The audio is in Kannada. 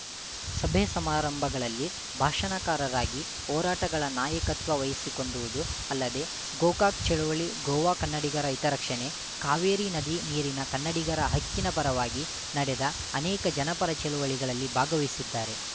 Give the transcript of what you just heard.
ಸಭೆಸಮಾರಂಭಗಳಲ್ಲಿ ಭಾಷಣಕಾರರಾಗಿ ಹೋರಾಟಗಳ ನಾಯಕತ್ವ ವಹಿಸಿಕೊಂಡುವುದೂ ಅಲ್ಲದೆ ಗೋಕಾಕ್‌ ಚಳುವಳಿ ಗೋವಾ ಕನ್ನಡಿಗರ ಹಿತ ರಕ್ಷಣೆ ಕಾವೇರಿ ನದಿ ನೀರಿನ ಕನ್ನಡಿಗರ ಹಕ್ಕಿನ ಪರವಾಗಿ ನಡೆದ ಅನೇಕ ಜನಪರ ಚಳವಳಿಗಳಲ್ಲಿ ಭಾಗವಹಿಸಿದ್ದಾರೆ